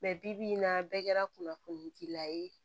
bi-bi in na bɛɛ kɛra kunnafoni dila ye